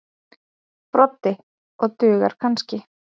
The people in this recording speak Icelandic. Broddi: Og dugar kannski.